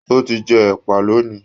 O tí jẹ ẹ̀pà lóni.